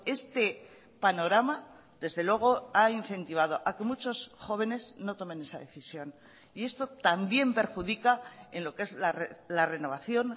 este panorama desde luego ha incentivado a que muchos jóvenes no tomen esa decisión y esto también perjudica en lo que es la renovación